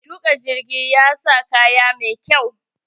Mai tuƙa jirgi ya sa kaya mai kyau.